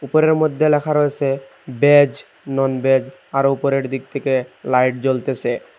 উপরের মধ্যে লেখা রয়েসে বেজ নন বেজ আরও উপরের দিক থেকে লাইট জ্বলতেসে।